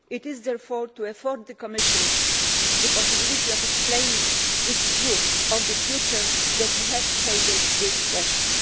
It is therefore to afford the Commission the possibility of explaining its view of the future that we have tabled this question.